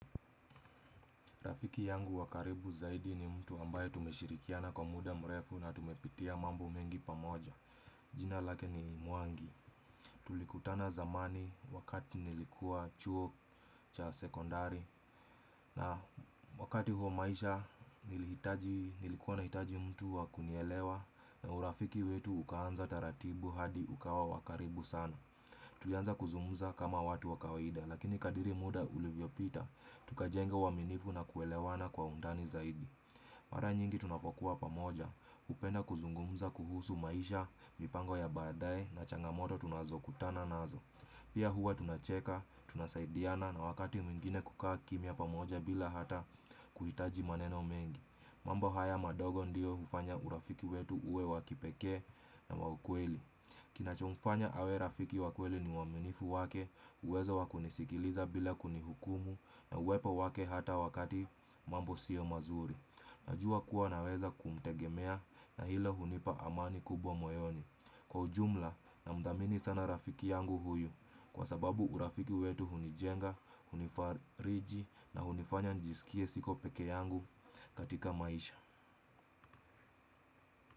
Rafiki yangu wakaribu zaidi ni mtu ambaye tumeshirikiana kwa muda mrefu na tumepitia mambo mengi pamoja. Jina lake ni mwangi tulikutana zamani wakati nilikua chuo cha sekondari na wakati huo maisha nilikua nahitaji mtu wakunielewa na urafiki wetu ukaanza taratibu hadi ukawa wakaribu sana. Tulianza kuzungumza kama watu wakawaida lakini kadri muda ulivyopita tukajenga uaminifu na kuelewana kwa undani zaidi. Mara nyingi tunapokua pamoja hupenda kuzungumza kuhusu maisha mipango ya badae na changamoto tunazokutana nazo. Pia hua tunacheka tunasaidiana na wakati mwengine kukaa kimya pamoja bila hata kuhitaji maneno mengi mambo haya madogo ndio hufanya urafiki wetu uwe wakipekee na waukweli. Kinachomfanya awe rafiki wakweli ni uaminifu wake uwezo wakunisikiliza bila kunihukumu na uwepo wake hata wakati mambo sio mazuri. Najua kua naweza kumtegemea na hilo hunipa amani kubwa moyoni kwaujumla na nmthamini sana rafiki yangu huyu kwasababu urafiki wetu hunijenga hunifariji na hunifanya njisikie siko pekeyangu katika maisha.